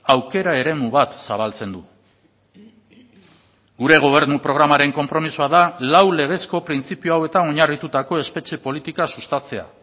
aukera eremu bat zabaltzen du gure gobernu programaren konpromisoa da lau legezko printzipio hauetan oinarritutako espetxe politika sustatzea